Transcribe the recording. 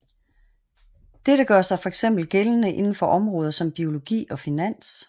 Dette gør sig fx gældende inden for områder som biologi og finans